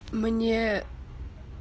мне